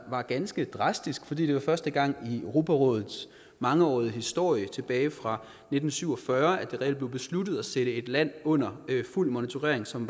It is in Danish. ganske drastisk fordi det var første gang i europarådets mangeårige historie tilbage fra nitten syv og fyrre at det reelt blev besluttet at sætte et land under fuld monitorering som